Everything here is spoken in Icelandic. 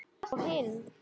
Hvað þá hinn.